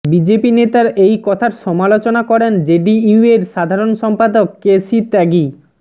BJP নেতার এই কথার সমালোচনা করেন জেডিইউয়ের ধারণ সম্পাদক কে সি ত্যাগী